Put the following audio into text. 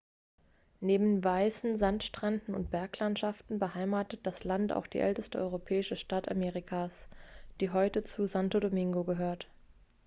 neben weißen sandstränden und berglandschaften beheimatet das land auch die älteste europäische stadt amerikas die heute zu santo domingo gehört